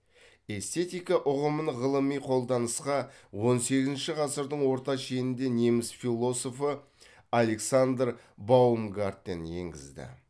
эстетика ұғымын ғылыми қолданысқа он сегізінші ғасырдың орта шенінде неміс философы александр баумгартен енгізді